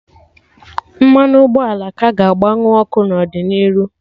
Mmanụ ụgbọala ka ga-agba nwu ọkụ n'ọdịnihu